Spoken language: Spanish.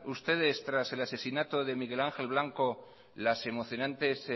ustedes tras el asesinato de miguel ángel blanco las emocionante